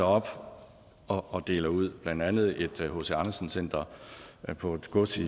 op og deler dem ud blandt andet et hc andersen center på et gods i